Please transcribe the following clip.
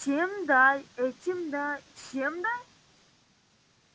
тем дай этим дай всем дай